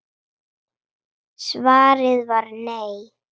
Svarið var nei.